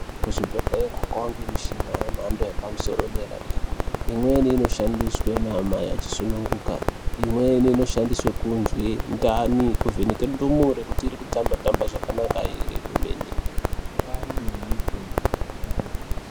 Ku zvibhedhlera kwange mushina ye mhando yepa musoro ye dera dera imweni ino shandiswe na amai achi sungunuka imweni inoshandiswe kunzwi ndani kuvheneke ndumure kuti iri kutamba tamba zvakanaka ere kwemene.